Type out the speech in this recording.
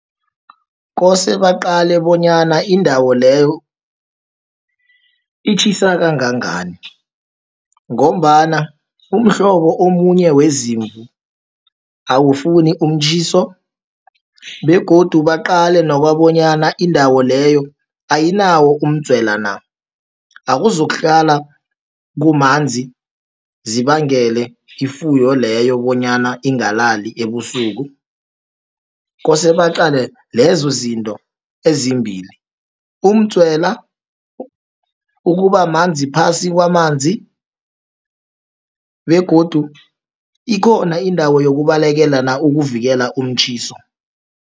Kose baqale bonyana indawo leyo itjhisa kangangani, ngombana umhlobo omunye wezimvu, awufuni umtjhiso, begodu baqale nakobonyana indawo leyo ayinawo umdzwela na, awuzokuhlala kumanzi, zibangele ifuyo leyo bonyana ingalalali ebusuku. Kose baqale lezo zinto ezimbili, umdzwela, ukubamanzi phasi kwamanzi, begodu ikhona indawo yokubalekela na, ukuvikela umtjhiso.